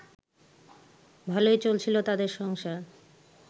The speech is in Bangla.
ভালোই চলছিল তাদের সংসার